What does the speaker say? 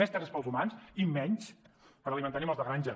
més terres per als humans i menys per alimentar animals de granja